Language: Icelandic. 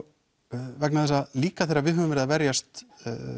vegna þess að líka þegar við höfum verið að verjast